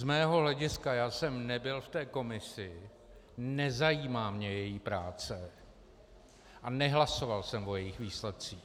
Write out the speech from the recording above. Z mého hlediska, já jsem nebyl v té komisi, nezajímá mě její práce a nehlasoval jsem o jejich výsledcích.